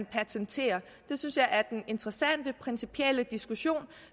patentere det synes jeg er den interessante principielle diskussion